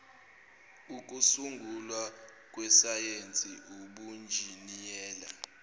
okusungulwa kwesayensi ubunjiniyela